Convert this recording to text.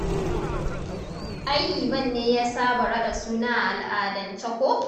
Ai Liman ne ya saba raɗa suna a al'adance ko?